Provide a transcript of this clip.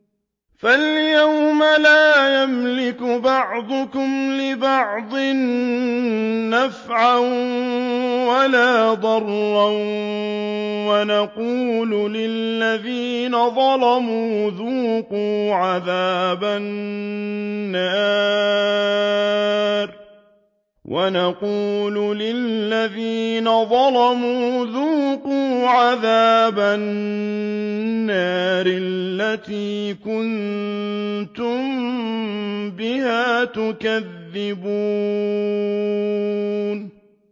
فَالْيَوْمَ لَا يَمْلِكُ بَعْضُكُمْ لِبَعْضٍ نَّفْعًا وَلَا ضَرًّا وَنَقُولُ لِلَّذِينَ ظَلَمُوا ذُوقُوا عَذَابَ النَّارِ الَّتِي كُنتُم بِهَا تُكَذِّبُونَ